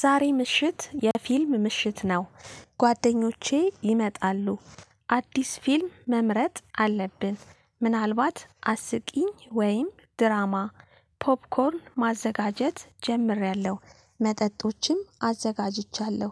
ዛሬ ምሽት የፊልም ምሽት ነው ጓደኞቼ ይመጣሉ። አዲስ ፊልም መምረጥ አለብን ምናልባት አስቂኝ ወይም ድራማ። ፖፕኮርን ማዘጋጀት ጀምሬያለሁ መጠጦችም አዘጋጅቻለሁ